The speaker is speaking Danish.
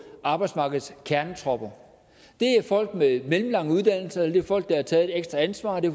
arbejdsmarkedets kernetropper det er folk med mellemlange uddannelser eller det er folk der har taget et ekstra ansvar det